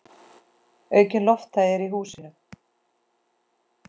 Aukin lofthæð er í húsinu.